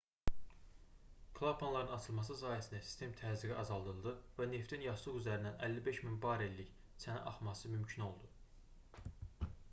klapanların açılması sayəsində sistem təzyiqi azaldıldı və neftin yastıq üzərindən 55 000 barellik 2,3 milyon qallon çənə axması mümkün oldu